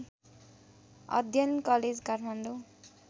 अध्ययन कलेज काठमाडौँ